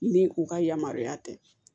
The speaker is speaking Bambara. Ni u ka yamaruya tɛ